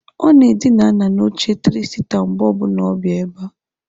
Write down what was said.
Ọ na-edina ala n'oche tịrị sita mgbe ọbuna ọ na-abịa ebe a.